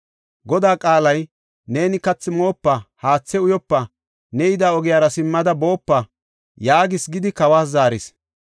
Godaa qaalay, ‘Neeni kathi moopa, haathe uyopa, ne yida ogiyara simmada boopa’ yaagis gidi kawas zaaris.”